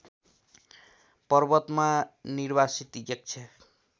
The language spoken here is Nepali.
पर्वतमा निर्वासित यक्ष